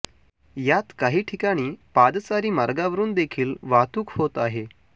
यात काही ठिकाणी पादचारी मार्गावरून देखील वाहतूक होत आहे